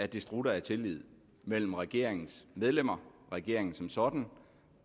det strutter af tillid mellem regeringens medlemmer regeringen som sådan